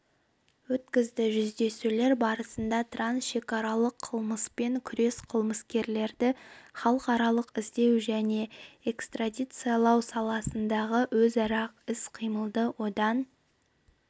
өткізді жүздесулер барысында трансшекаралық қылмыспен күрес қылмыскерлерді халықаралық іздеу және экстрадициялау салаларындағы өзара іс-қимылды одан